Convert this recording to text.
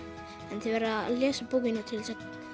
en þið verðið að lesa bókina til að